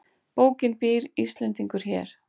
Bókin Býr Íslendingur hér?